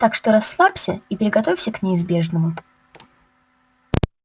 так что расслабься и приготовься к неизбежному